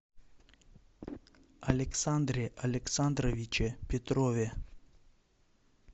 александре александровиче петрове